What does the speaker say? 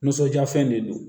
Nisɔndiya fɛn de don